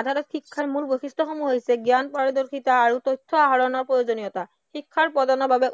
আধাৰত শিক্ষাৰ মূল বৈশিষ্ট্য়সমূহ হৈছে জ্ঞান, পাৰদৰ্শিতা আৰু তথ্য় আহৰণৰ প্ৰয়োজনীয়তা, শিক্ষাৰ বাবে